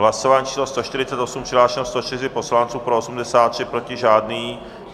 Hlasování číslo 148, přihlášeno 104 poslanců, pro 83, proti žádný.